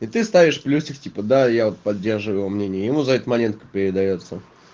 и ты ставишь плюсик типа да я вот поддерживаю его мнение ему за это монетка передаётся